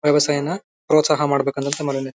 ವ್ಯವಸಾಯನ ಪ್ರೋತ್ಸಾಹ ಮಾಡಬೇಕು ಅಂತ ಅಂದ್ ಮಾಡಿದೀನಿ.